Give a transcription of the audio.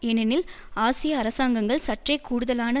ஏனெனில் ஆசிய அரசாங்கங்கள் சற்றே கூடுதலான